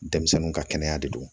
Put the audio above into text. Denmisɛnninw ka kɛnɛya de do